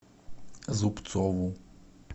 зубцову